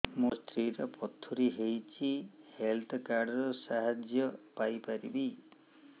ମୋ ସ୍ତ୍ରୀ ର ପଥୁରୀ ହେଇଚି ହେଲ୍ଥ କାର୍ଡ ର ସାହାଯ୍ୟ ପାଇପାରିବି